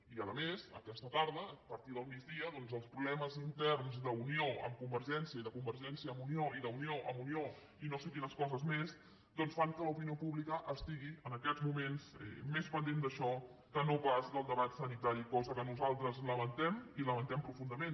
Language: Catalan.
i a més aquesta tarda a partir del migdia doncs els problemes interns d’unió amb convergència i de convergència amb unió i d’unió amb unió i no sé quines coses més doncs fan que l’opinió pública estigui en aquests moments més pendent d’això que no pas del debat sanitari cosa que nosaltres lamentem i ho lamentem profundament